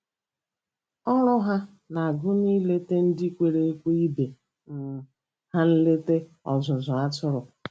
Ọrụ ha na-agụnye ileta ndị kwere ekwe ibe um ha nleta ọzụzụ atụrụ.